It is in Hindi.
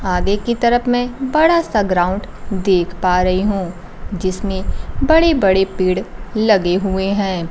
आगे की तरफ में बड़ा सा ग्राउंड देख पा रही हूं जिसमें बड़े बड़े पेड़ लगे हुए है।